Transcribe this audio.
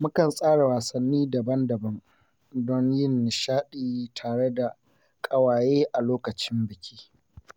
Mukan tsara wasanni daban-daban, don yin nishaɗi tare da ƙawaye a lokacin biki.